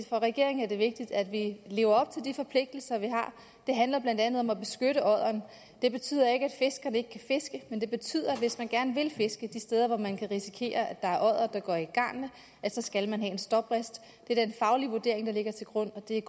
for regeringen er det vigtigt at vi lever op til de forpligtelser vi har det handler blandt andet om at beskytte odderen det betyder ikke at fiskerne ikke kan fiske men det betyder at hvis man gerne vil fiske de steder hvor man kan risikere at oddere går i garnet så skal man have en stoprist det er den faglige vurdering der ligger til grund og det er